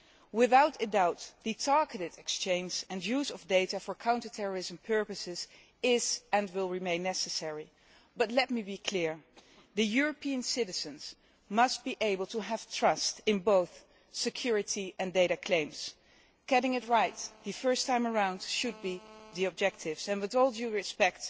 Without a doubt, the targeted exchange and use of data for counter terrorism purposes is, and will remain, necessary, but let me be clear European citizens must be able to trust both security and data claims. Getting it right first time round should be the objective and, with all due respect,